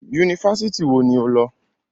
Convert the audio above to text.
Yunifásítì wo ni o lọ?